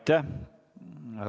Aitäh!